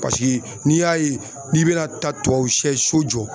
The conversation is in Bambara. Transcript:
Paseke n'i y'a ye n'i bɛna taa tubabusiyɛ so jɔ.